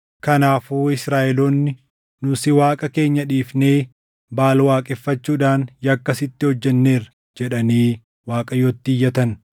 Kanaafuu Israaʼeloonni, “Nu si Waaqa keenya dhiifnee Baʼaal waaqeffachuudhaan yakka sitti hojjenneerra” jedhanii Waaqayyotti iyyatan.